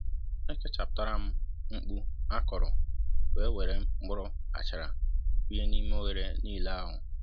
é kechaputaram mkpu akọrọ wē wéré mkpụrụ achara kunyé n'ime oghere nílé ahụ